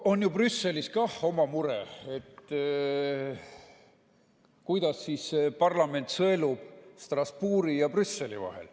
On ju Brüsselis ka oma mure, et parlament sõelub Strasbourgi ja Brüsseli vahet.